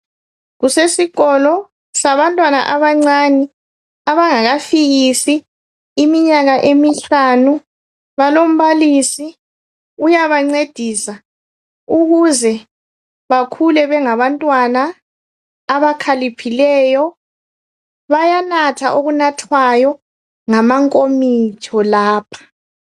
Kusesikolo sabantwana abancane abangakafikisi iminyaka emihlanu balombalisi uyabancedisa ukuze bakhule bengabantwana abakhaliphileyo. Bayanatha okunathwayo ngamankomitsho lapha.